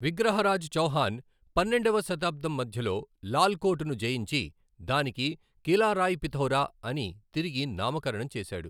విగ్రహరాజ్ చౌహాన్ పన్నెండవ శతాబ్దం మధ్యలో లాల్ కోట్ ను జయించి దానికి కిలా రాయ్ పిథౌరా అని తిరిగి నామకరణం చేశాడు.